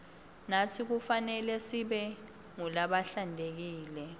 natsi kufanelesibe ngulabahlantekile